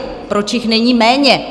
Proč jich není méně?